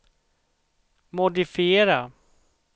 modifiera